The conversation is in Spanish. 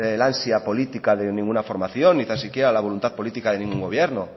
el ansia política de ninguna formación ni tan siquiera la voluntad política de un gobierno